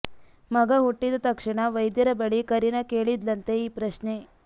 ಮಗ ಹುಟ್ಟಿದ ತಕ್ಷಣ ವೈದ್ಯರ ಬಳಿ ಕರೀನಾ ಕೇಳಿದ್ಲಂತೆ ಈ ಪ್ರಶ್ನೆ